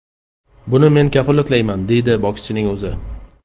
Buni men kafolatlayman”, deydi bokschining o‘zi.